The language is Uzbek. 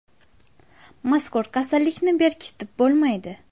Mazkur kasallikni berkitib bo‘lmaydi.